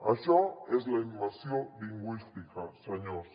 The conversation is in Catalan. això és la immersió lingüística senyors